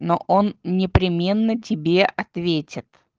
но он непременно тебе ответит